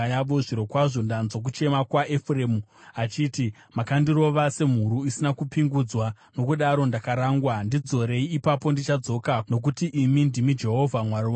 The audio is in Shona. “Zvirokwazvo ndanzwa kuchema kwaEfuremu achiti: ‘Makandirova semhuru isina kupingudzwa, nokudaro ndakarangwa. Ndidzorei, ipapo ndichadzoka, nokuti imi ndimi Jehovha Mwari wangu.